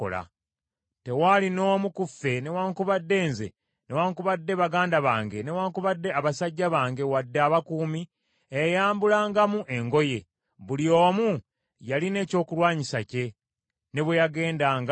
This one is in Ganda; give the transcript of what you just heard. Tewaali n’omu ku ffe newaakubadde nze newaakubadde baganda bange newaakubadde abasajja bange wadde abakuumi, eyayambulangamu engoye; buli omu yalina ekyokulwanyisa kye, ne bwe yagendanga ku luzzi.